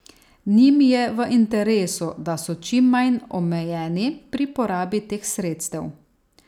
Njim je v interesu, da so čim manj omejeni pri porabi teh sredstev.